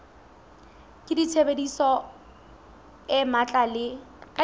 ka tshebedisano e matla le